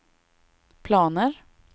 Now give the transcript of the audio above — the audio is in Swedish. planer